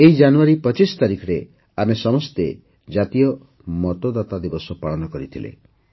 ଏହି ଜାନୁୟାରୀ ପଚିଶ ତାରିଖରେ ଆମେ ସମସ୍ତେ ଜାତୀୟ ମତଦାତା ଦିବସ ପାଳନ କରିଥିଲେ